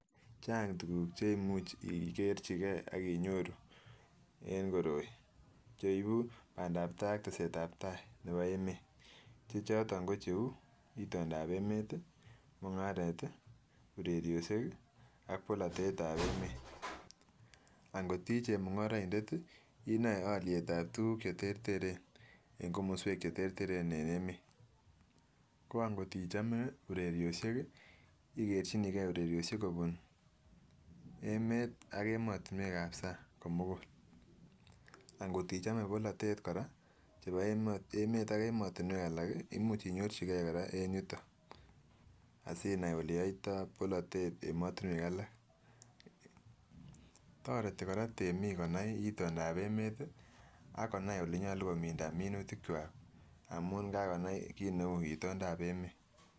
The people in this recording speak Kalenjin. Chang tukuk che imuch ikerchigee ak inyoru en koroi cheibu bandap tai ak teset ab tai nebo emet che choton ko cheu itondap emet tii, mungaret tii, urerioshek ki ak polotet ab emet. Ankot ii chemungoroindet tii inoe oliet ab tukul cheterteren en komoswek cheterteren en emet, ko ankot ichome urerioshek kii ikerchinii gee urerioshek kobut emet ak emotinwek ab sang komugul. Ankot ichome polotet chebo emet ak emotinwek alak imuch inyorchigee koraa en yuton asinai ole yoito polotet emotinwek alak, toreti koraa temik konai itondap emet tii akonai olenyolu kominda minutik kwak amun kakonai kit neu itondap emet.